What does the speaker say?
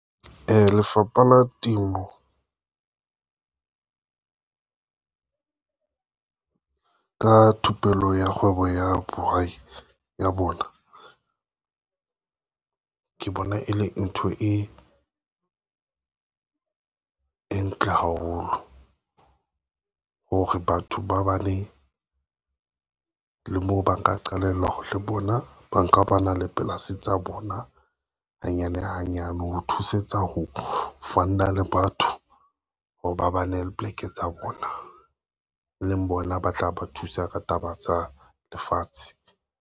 Lefapha la Temo ka thupello ya kgwebo ya bohwai ya bona ke bona e le ntho e ntle haholo ng hore batho ba bane le moo, ba nka qalella ho re bona ba nka ba na le polasi tsa bona hanyane hanyane ho thusetsa ho Fund - a le batho hore ba bane le poleke tsa bona le leng bona ba tla ba thusa ka taba tsa lefatshe.